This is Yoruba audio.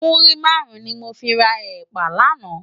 Múrí márùn ni mó fi rá èpá làná